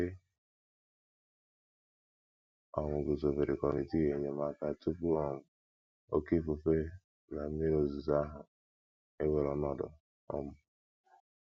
E um guzobere kọmitii enyemaka tupu um oké ifufe na mmiri ozuzo ahụ ewere ọnọdụ. um